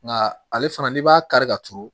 Nga ale fana n'i b'a kari ka turu